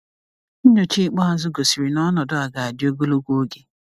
Nyocha ikpeazụ gosiri na ọnọdụ a ga-adị ogologo oge.